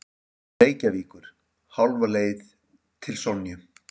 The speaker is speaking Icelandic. Reykjavíkur, hálfa leið til Sonju.